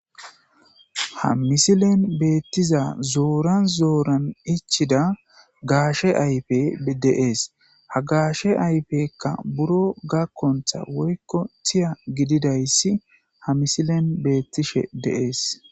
ha misilen beettiza zooran zooran ichchidda gaashe ayfey de'ees ha gaashe ayfekka buro gakonththa woykko tiiya gididayssi ha misilen beettishshe de'ees